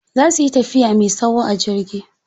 Za suyi tafiya me tsawo a jirgi.